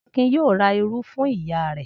Akin yóò ra irú fún ìyá rẹ̀.